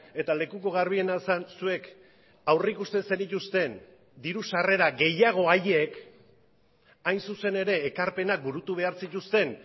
eta lekuko garbiena zen zuek aurrikusten zenituzten diru sarrera gehiago haiek hain zuzen ere ekarpenak burutu behar zituzten